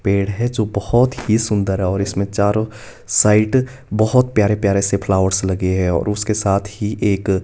पेड़ है जो बहोत ही सुंदर है और इसमें चारों साइड बहोत प्यारे प्यारे से फ्लावर्स लगे है और उसके साथ ही एक--